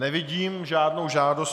Nevidím žádnou žádost.